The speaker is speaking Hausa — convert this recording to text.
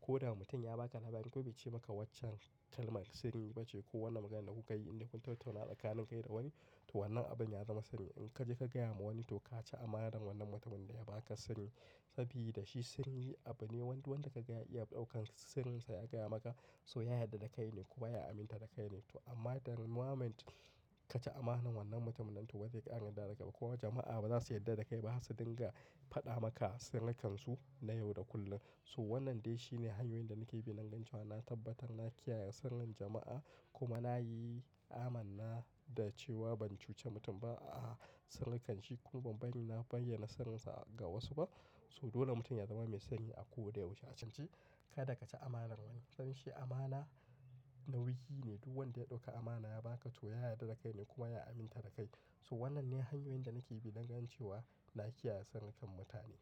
Ko da mutum ya ba ka labari, ko ya bice maka waccan kalmar sanyi ba ce ko wannan maganar da kuka yi inda kun tattauna tsakanin kai da wani, to wannan abin ya zama sanyi. In ka je ka gaya wa wani to ka ci amana wannan mutumin da ya ba ka sanyi. Saboda shi sanyi abu ne, wanda ka gaya iya ɗaukan sanyi sa ya gaya maka. So ya yarda da kai ne kuma ya aminta da kai ne. To amma the moment ka ci amanan wannan mutumin nan to ba zai iya an yarda da ka ba. Kowa jama'a ba za su yarda da kai ba har sai dinga faɗa maka sarrikan su na yau da kullum. So wannan dai shine hanyoyin da nake bi don gane cewa na tabbatar na kiyaye sirrin jama'a kuma na yi amana da cewa ban cuce mutum ba a sankan shi kuma ban bayyana sarinsa ga wasu ba. So dole mutum ya zama mai sanyi a koda yaushe a can ci. Kada ka ci amanan wani, sanyi amana nauyi ne. Duk wanda ya ɗauki amana ya ba ka to ya yarda da kai ne kuma ya aminta da kai. So wannan ne hanyoyin da nake bi don gane cewa na kiyaye sankan mutane.